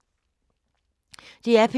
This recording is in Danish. DR P2